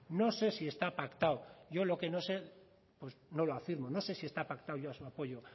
no sé si está pactado yo lo que no sé no lo afirmo no sé si está pactado ya su apoyo